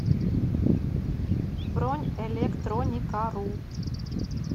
бронь электроникару